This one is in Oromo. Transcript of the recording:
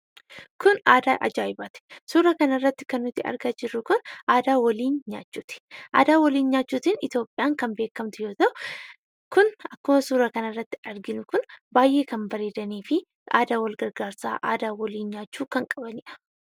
Kun aadaa ajaa'ibaati! Suuraa kana irratti kan nuti argaa jirru kun aadaa waliin nyaachuuti. Aadaa waliin nyaachuutiin Itoophiyaan kan beekamtu yoo ta'u, kun akkuma suuraa kana irratti arginu kun baay'ee kan bareedanii fi aadaa wal gargaarsaa aadaa waliin nyaachuu kan qabaniidha.